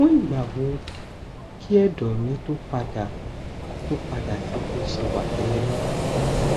fún ìgbà wo kí ẹdọ mi tó padà tó padà sí bó ṣe wà tẹlẹ